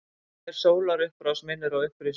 Hver sólarupprás minnir á upprisuna.